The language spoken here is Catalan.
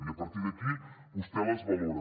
i a partir d’aquí vostè les valora